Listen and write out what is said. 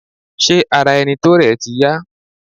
Ṣé ara ẹni tó rẹ̀ ti yá?